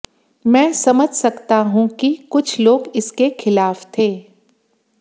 मैं समझ सकता हूं कि कुछ लोग इसके खिलाफ थे